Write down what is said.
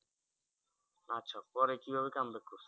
আচ্ছা পরে কিভাবে come back করেছো?